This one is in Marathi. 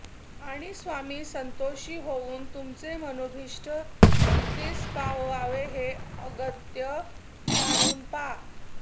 आणि स्वामी संतोषी होऊन तुमचें मनोभीष्ट सिद्धीस पाववावे हें अगत्य जाणून पा